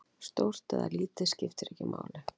Stórt eða lítið, skiptir ekki máli.